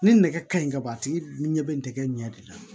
Ni nɛgɛ ka ɲi ka ban a tigi ɲɛ bɛ nɛgɛ ɲɛ de la